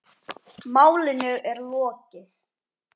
Málinu er lokið.